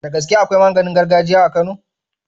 Da gaske akwai maganin gargajiya a kano